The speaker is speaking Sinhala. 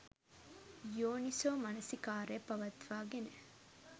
යෝනිසෝමනසිකාරය පවත්වාගෙන